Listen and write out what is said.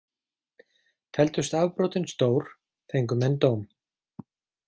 Teldust afbrotin stór, fengu menn dóm.